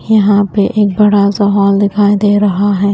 यहां पे एक बड़ा सा हॉल दिखाई दे रहा है।